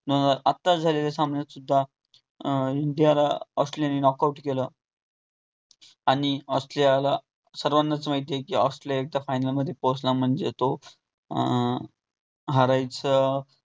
आताच झालेल्या सामन्यात सुद्धा अं इंडियाला ऑस्ट्रेलिया ने knock out केल. आणि ऑस्ट्रेलियाला सर्वानाच माहित आहे कि ऑस्ट्रेलिया एकदा final मध्ये पोहोचण म्हणजे तो अं हरायच